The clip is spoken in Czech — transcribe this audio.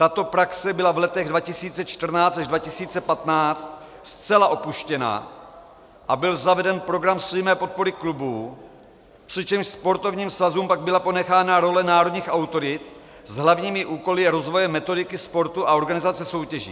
Tato praxe byla v letech 2014 až 2015 zcela opuštěna a byl zaveden program přímé podpory klubů, přičemž sportovním svazům pak byla ponechána role národních autorit s hlavními úkoly rozvoje metodiky sportu a organizace soutěží.